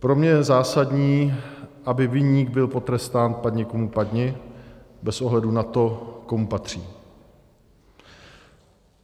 Pro mě je zásadní, aby viník byl potrestán padni komu padni, bez ohledu na to, komu patří.